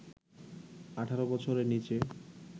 ১৮ বছরের নিচে